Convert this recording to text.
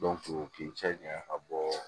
k'i cɛ janya ka bɔ